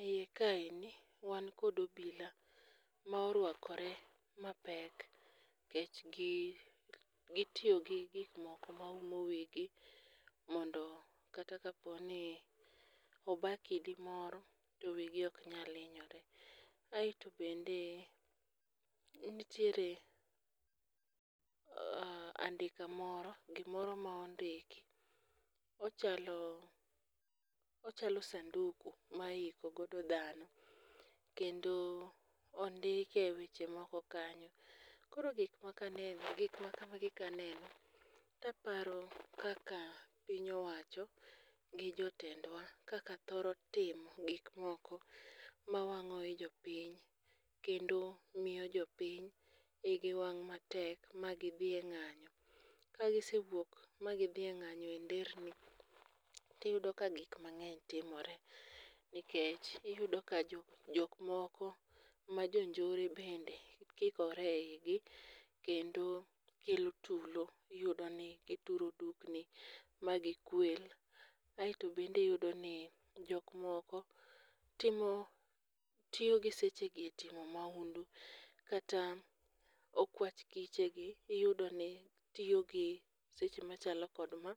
E iye kaendi, wan kod obila ma orwakore mapek nikech gitiyo gi gik moko maumo wigi mondo kata kaponi oba kidi moro, to wigi ok nyal hinyore. Aeto bende nitiere andika moro, gimoro ma ondiki, ochalo sanduk ma iiko godo dhano, kendo ondike weche moko kanyo. Koro gik makamagi kaneno taparo kaka piny owacho gi jotendwa kaka thoro timo gikmoko mawang'o i jopiny kendo miyo jopiny igi wang' matek ma gidhi e ng'anyo. Ka gisewuok ma gidhi e ng'anyo e nderni tiyudo ka gik mang'eny timore nikech iyudo ka jokmoko ma jonjore bende kikore e igi kendo kelo tulo, iyudoni ituro dukni magikwel ,aeto bende iyudoni jok moko tiyo gi seche gi e timo mahundu kata okwach kichegi, iyudoni tiyo gi seche machalo kod ma